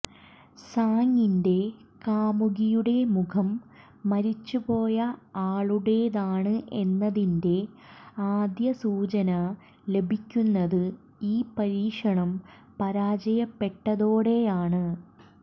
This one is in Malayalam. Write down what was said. സാങിൻറെ കാമുകിയുടെ മുഖം മരിച്ചുപോയ ആളുടെതാണ് എന്നതിൻറെ ആദ്യ സൂചന ലഭിക്കുന്നത് ഈ പരീക്ഷണം പരാജയപ്പെട്ടതോടെയാണ്